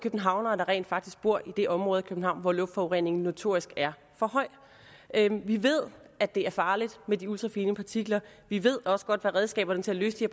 københavnere der rent faktisk bor i det område af københavn hvor luftforureningen notorisk er for høj vi ved at det er farligt med de ultrafine partikler vi ved også godt hvad redskaberne til at løse